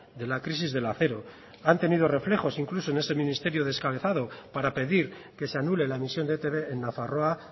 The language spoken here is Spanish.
de la crisis del acero han tenido reflejos incluso en este ministerio descabezado para pedir que se anule la emisión de etb en nafarroa